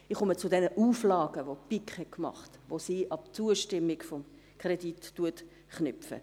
Ich komme zu den Auflagen, welche die BiK gemacht hat und welche diese an die Zustimmung zum Kredit knüpft.